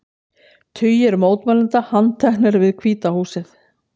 Tugir mótmælenda handteknir við Hvíta húsið